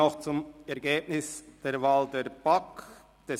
Monika Gygax-Böninger mit 154 Stimmen